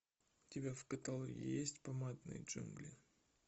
у тебя в каталоге есть помадные джунгли